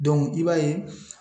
i b'a ye